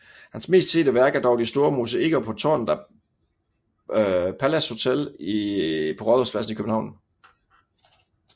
Hans mest sete værk er dog de store mosaikker på tårnet af Palace Hotel på Rådhuspladsen i København